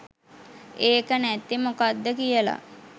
ඒක නැත්තෙ මොකක්ද කියල